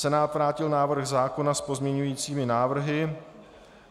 Senát vrátil návrh zákona s pozměňujícími návrhy.